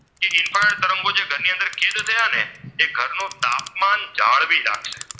તાપમાન જાળવી રાખશે.